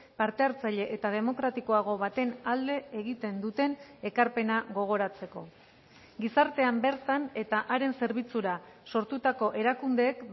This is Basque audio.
parte hartzaile eta demokratikoago baten alde egiten duten ekarpena gogoratzeko gizartean bertan eta haren zerbitzura sortutako erakundeek